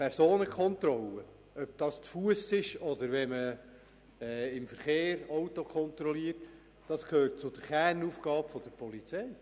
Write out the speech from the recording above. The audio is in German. Personenkontrollen, ob zu Fuss oder in Form von Fahrzeugkontrollen, gehören zu den Kernaufgaben der Polizei.